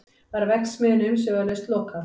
Var verksmiðjunni umsvifalaust lokað